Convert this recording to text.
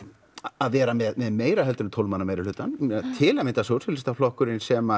að vera með meira en tólf manna meirihlutann til að mynda sósíalistaflokkurinn sem